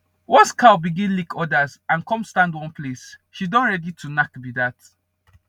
once cow begin lick others and come stand one place she don ready to knack be that